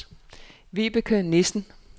Vibeke Nissen